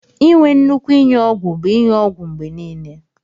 Inwe nnukwu inyụ ọgwu bu inyụ ọgwu mgbe nile.